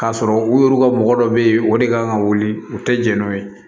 K'a sɔrɔ u yɛrɛ ka mɔgɔ dɔ bɛ yen o de kan ka wuli u tɛ jɛn n'o ye